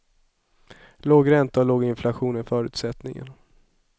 Låg ränta och låg inflation är förutsättningen.